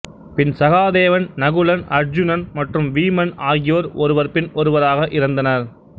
பின் சகாதேவன் நகுலன் அருச்சுனன் மற்றும் வீமன் ஆகியோர் ஒருவர் பின் ஒருவராக இறந்தனர்